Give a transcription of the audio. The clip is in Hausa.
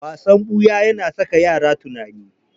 Wasan ɓuya yana saka yara tunani.